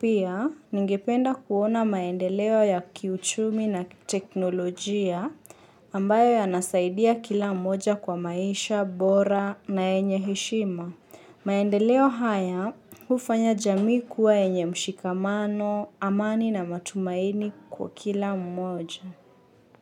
Pia, ningependa kuona maendeleo ya kiuchumi na teknolojia ambayo yanasaidia kila mmoja kwa maisha, bora na yenye heshima. Maendeleo haya ufanya jamii kuwa yenye mshikamano, amani na matumaini kwa kila mmoja.